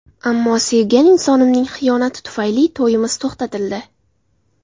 Ammo sevgan insonimning xiyonati tufayli to‘yimiz to‘xtatildi.